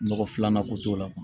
Nɔgɔ filanan ko t'o la